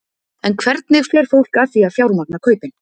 En hvernig fer fólk að því að fjármagna kaupin?